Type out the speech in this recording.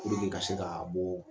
ka se ka bɔ.